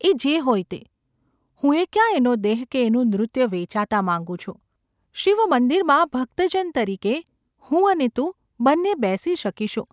‘એ જે હોય તે. હું યે ક્યાં એનો દેહ કે એનું નૃત્ય વેચાતાં માગું છું ? શિવમંદિરમાં ભક્તજન તરીકે હું અને તું બંને બેસી શકીશું.